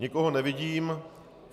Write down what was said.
Nikoho nevidím.